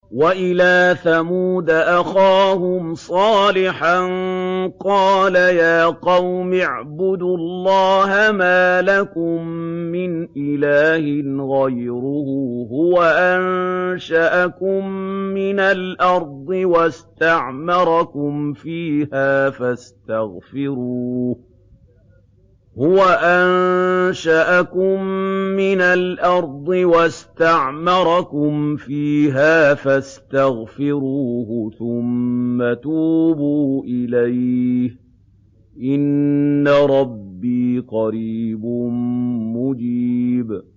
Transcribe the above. ۞ وَإِلَىٰ ثَمُودَ أَخَاهُمْ صَالِحًا ۚ قَالَ يَا قَوْمِ اعْبُدُوا اللَّهَ مَا لَكُم مِّنْ إِلَٰهٍ غَيْرُهُ ۖ هُوَ أَنشَأَكُم مِّنَ الْأَرْضِ وَاسْتَعْمَرَكُمْ فِيهَا فَاسْتَغْفِرُوهُ ثُمَّ تُوبُوا إِلَيْهِ ۚ إِنَّ رَبِّي قَرِيبٌ مُّجِيبٌ